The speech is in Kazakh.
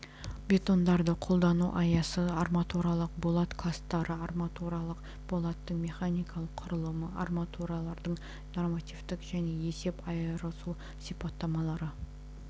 бетондарды қолдану аясы арматуралық болат кластары арматуралық болаттың механикалық құрамы арматуралардың нормативтік және есеп айырысу сипаттамалары